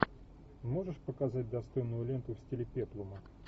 можешь показать достойную ленту в стиле петлума